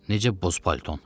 Necə boz palton?